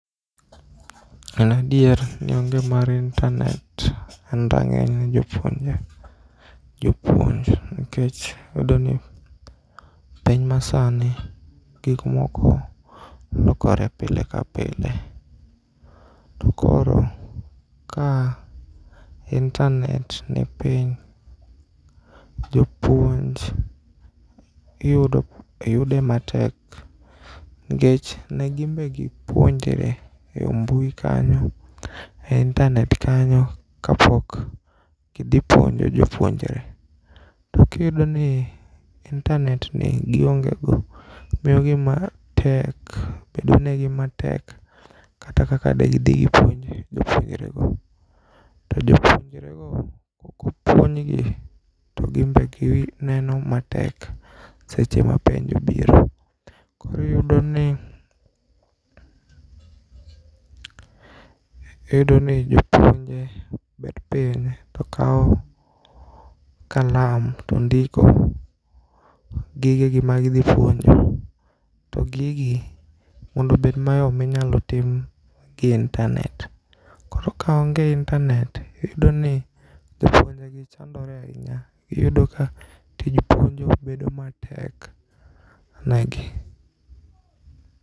En adier ni onge mar intanet en rang'eny ne jopuonje jopuonj nikech iyudoni piny masani gik moko lokore pile ka pile to koro ka intanet nipiny, jopuonj yude matek nikech negibegipuonjre e mbui kanyo e intanet kayo ka pok gidhi puonjo jopuonjre. To kiyudoni intanet ni giongego mio ngima bedonegi matek kaka degidhi gipuonj jopuonrego. To jopuonjrego kokopuonjgi to gimbe gineno matek seche ma penj biro. Koro iyudoni, iyudoni jopuonje bet piny tokao kalam tondiko gigegi magidhi puonjo. To gigi mondo obed mayom inyalo timgi e intanet. Koro kaonge intanet iyudoni jopuongeji chandore ainya, iyudo ka tij puonjo bedo matek negi.